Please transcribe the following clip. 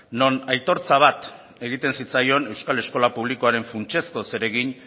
non aitortza bat egiten zitzaion euskal eskola publikoaren funtsezko zeregin